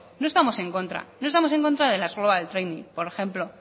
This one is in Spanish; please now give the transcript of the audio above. no estamos en contra no estamos en contra de las global training por ejemplo